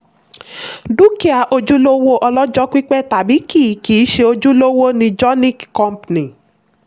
dúkìá ojúlówó ọlọ́jọ́ pípẹ́ tàbí kìí kìí ṣe ojúlówó ni jonick company.